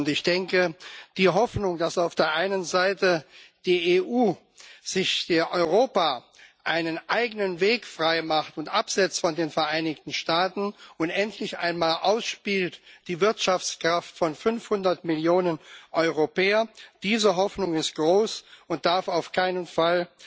Ich denke, die Hoffnung, dass auf der einen Seite die EU, Europa sich einen eigenen Weg freimacht und sich absetzt von den Vereinigten Staaten und endlich einmal die Wirtschaftskraft von fünfhundert Millionen Europäern ausspielt, diese Hoffnung ist groß und darf auf keinen Fall